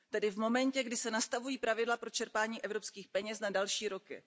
Tedy v momentě, kdy se nastavují pravidla pro čerpání evropských peněz na další roky.